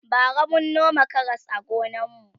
bara mun noma Karas a gonan mu